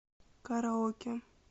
караоке